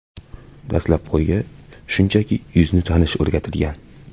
Dastlab qo‘yga shunchaki yuzni tanish o‘rgatilgan.